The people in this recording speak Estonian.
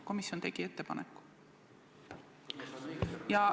Komisjon tegi ettepaneku ja ...